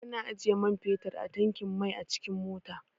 Ana ajiye man fetir a tankin mai a cikin mota.